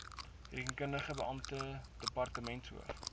rekenpligtige beampte departementshoof